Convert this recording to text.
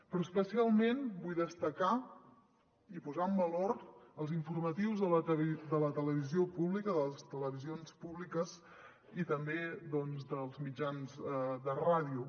però especialment vull destacar i posar en valor els informatius de les televisions públiques i també dels mitjans de ràdio